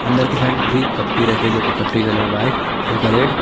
अंदर की साइड भी कप टी रखे जो कि कप टी का कलर व्हाइट हल्का रेड ।